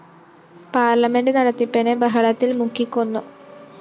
parliament നടത്തിപ്പിനെ ബഹളത്തില്‍ മുക്കിക്കൊന്നു